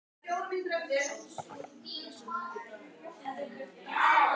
Þegar silkiþráðurinn rennur úr stútnum sameinast hann öðrum þráðum úr nærliggjandi rönum.